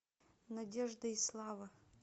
надежда и слава